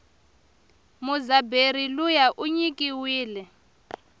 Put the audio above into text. mudzabheri luya inyikiwile